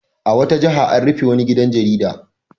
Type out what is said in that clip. A wata jiha an rufe wani gidan jarida.